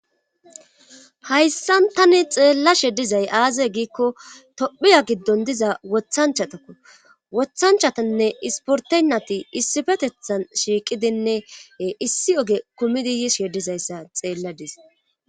hayssan tani xeellashe dizay aaze giikko tophiya giddon diza wothanchatakko wothanchatanne isportenati issifetethan shiiqidinne issi oge kumidi yishedizayssa xeelladis